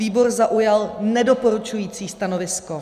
Výbor zaujal nedoporučující stanovisko.